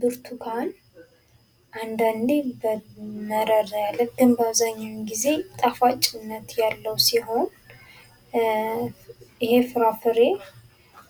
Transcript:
ብርቱካን አንዳንድ ጊዜ መረር ያለ ግን በአብዛኛውን ጊዜ ጣፋጭነት ያለው ሲሆን ይሄ ፍራፍሬ